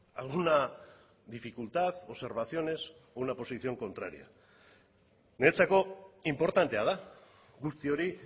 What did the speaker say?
alguna dificultad observaciones o una posición contraria niretzako inportantea da guzti hori